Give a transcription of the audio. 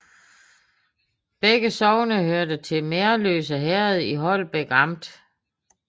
Begge sogne hørte til Merløse Herred i Holbæk Amt